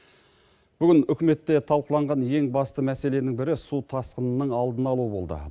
бүгін үкіметте талқыланған ең басты мәселенің бірі су тасқынының алдын алу болды